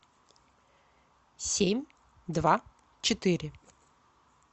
семь два четыре